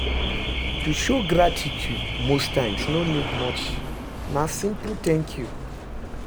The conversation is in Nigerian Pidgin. To show gratitude most times no need much na simple 'thank you'